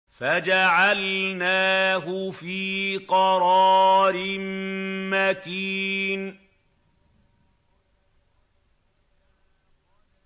فَجَعَلْنَاهُ فِي قَرَارٍ مَّكِينٍ